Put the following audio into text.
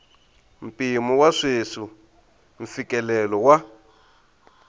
mpimo wa sweswi mfikelelo wa